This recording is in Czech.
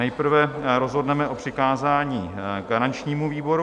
Nejprve rozhodneme o přikázání garančnímu výboru.